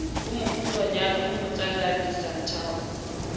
mokgutshwanyane o mo tsalang disanthao